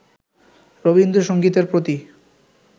রবীন্দ্রসংগীতের প্রতি